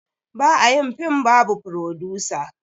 Ba a yin film babu frodusa